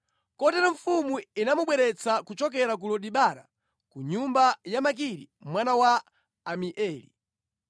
Kotero mfumu inamubweretsa kuchokera ku Lodebara, ku nyumba ya Makiri mwana wa Amieli.